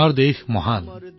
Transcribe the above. আমাৰ দেশ মহান